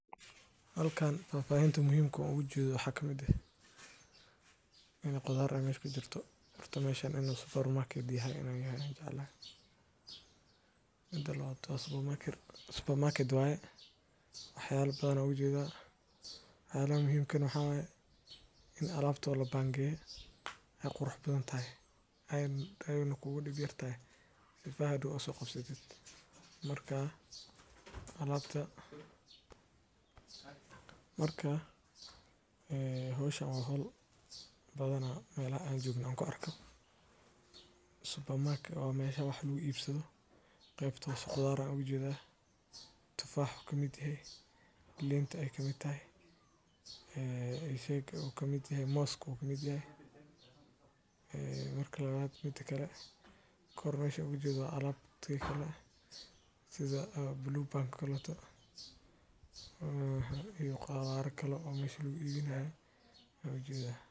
Halkan faahfaahinta muhiimmada aan ugu jeedo waxaa ka mid ah in ay qudaar meesha ku jirto. Horta meesha waa supermarket — waaxyo badan ayaan u jeedaa. Waxyaalaha muhiimka ahna waxaa weeye in alaabta la dhigayo ay qurux badan tahay ayna u dhib yartahay sifeynta haddii aad u soo qabsato. Marka hawsha waa hawl badan, meelaha aan joogno ayaan ku arkaa supermarket, oo meesha waa meel lagu iibiyo. Meesha hoose qudaar baan u jeedaa: tufaax ayaa ka mid ah, liin ayaa ka mid ah, moos ayaa ka mid ah. Mida labaad — sidoo kale kor waxaan ugu jeedaa alaab sida Blue Band-ta oo kale, iyo qudaar kale oo meesha lagu iibinayo ayaan u jeedaa.